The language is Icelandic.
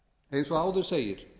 eins og áður segir